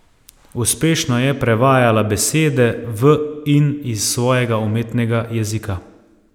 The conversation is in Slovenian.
Uspešno je prevajala besede v in iz svojega umetnega jezika.